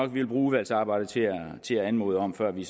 vi vil bruge udvalgsarbejdet til til at anmode om før vi